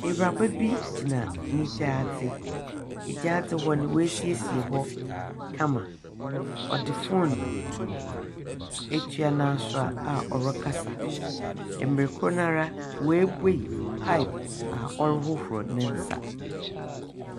Ewuraba bi gyina ne gyaadze, na gyaadze no woesiesie hɔ kama. Ɔdze phone etua n’asowa a ɔrekasa. Mber kor nara oebue pipe a ɔrohohor ne nsa.